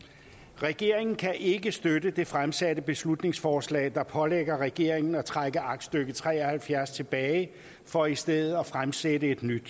regeringen kan ikke støtte det fremsatte beslutningsforslag der pålægger regeringen at trække aktstykke tre og halvfjerds tilbage for i stedet at fremsætte et nyt